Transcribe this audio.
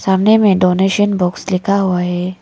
सामने में donation box लिखा हुआ है।